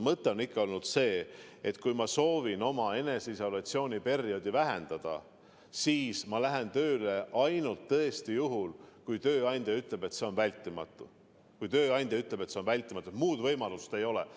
Mõte on olnud pigem see, et kui ma soovin oma eneseisolatsiooniperioodi lühendada, siis ma lähen tööle tõesti ainult sellisel juhul, kui tööandja ütleb, et see on vältimatu ja muud võimalust ei ole.